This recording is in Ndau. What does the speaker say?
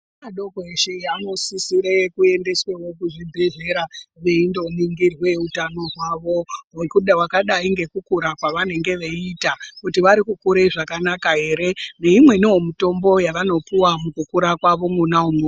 Ana doko ese anosisire kuendeswewo kuzvibhedhlera eindo ningirwe utano hwawo. Vakadai ngekukura kwavanenge veiita kuti varikukure zvakanaka ere, neimweni wo mitombo yavanopuva mukukura kwavo mona mwomwo.